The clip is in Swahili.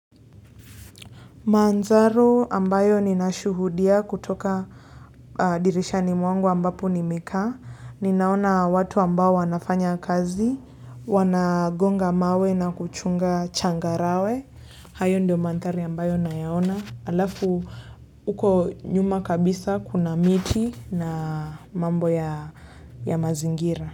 Manthari ambayo ninashuhudia kutoka dirishani mwangu ambapo nimekaa ninaona watu ambao wanafanya kazi wanagonga mawe na kuchunga changarawe hayo ndio manthari ambayo nayaona. Alafu huko nyuma kabisa kuna miti na mambo ya mazingira.